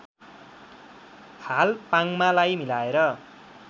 हाल पाङमालाई मिलाएर